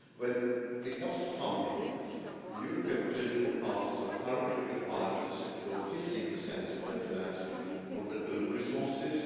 When it comes to funding, the European political parties are currently required to secure 15 of their financing from their own resources.